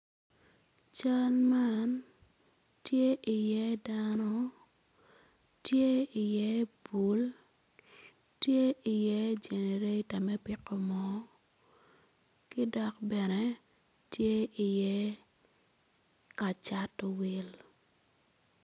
Cal mn tye iye dano tye iye bul tye iye generator me piko moo ki dok bene tye iye ka cato wil.